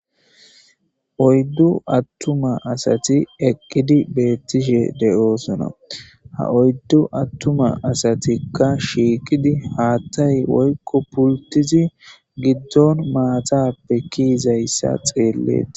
Oyddu attuma asatuka eqqidi bettishshe doosona ha oyddu attuma assatika shiiqidi haththay woyko pulltidi giddoy maatape kei'daysa xeeletees